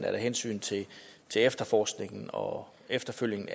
at af hensyn til efterforskningen og eftersøgningen